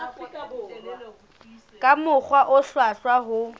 ka mokgwa o hlwahlwa ho